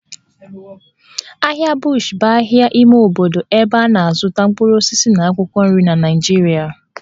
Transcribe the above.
Ahịa Bush bụ ahịa ime obodo ebe a na-azụta mkpụrụ osisi na akwụkwọ nri na Naịjirịa